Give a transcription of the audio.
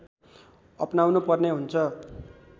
अपनाउनु पर्ने हुन्छ